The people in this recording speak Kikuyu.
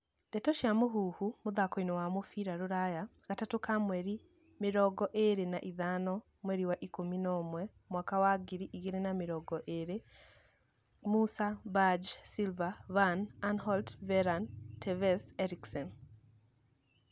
Ndeto cia Mũhuhu, mũthakoini wa mũbĩra rũraya, Gatatu ka mweri mirongo ĩrĩ na ithano, mweri wa ikũmi na ũmwe, mwaka wa ngiri igĩrĩ na mĩrongo ĩrĩ:Musah, Berge, Silva, Van Aanholt, Verane, Tevez, Eriksen